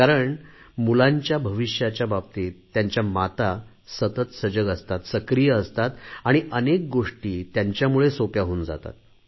कारण मुलांच्या भविष्याच्या बाबतीत त्यांच्या माता सतत सजग असतात सक्रिय असतात आणि अनेक गोष्टी त्यांच्यामुळे सोप्या होऊन जातात